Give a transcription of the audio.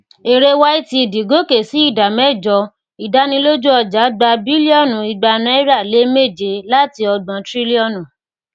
èrè ytd goke sí ìdá mẹjọ ìdánilójú ọjà gba bílíọnù igba náírà lé méje láti ògbon trílíọnù